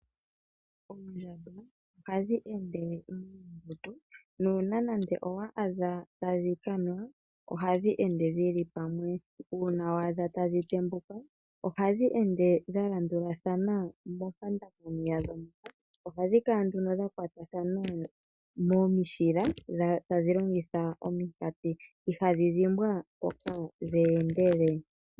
Oondjamba ohadhi ende dhi li pamwe ano dhili muungundu nķuuna nande owa adha tadhi kanwa ohadhi ende dhili pamwe uuna waadha tadhi tembuka ohadhi ende dha landulathana ohadhi kala nduno dha kwatathana momishila tadhi longitha omikati ihadhi dhimbwa mpoka dhe endele.